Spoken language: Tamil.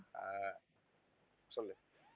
அஹ் சொல்லு